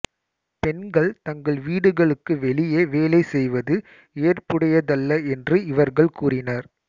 பெண்கள் தங்கள் வீடுகளுக்கு வெளியே வேலை செய்வது ஏற்புடையதல்ல என்று இவர்கள் கூறினர்